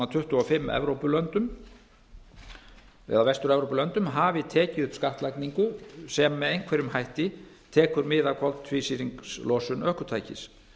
tuttugu og fimm vestur evrópulöndum hafi tekið upp skattlagningu sem með einhverjum hætti tekur mið af koltvísýringslosun ökutækis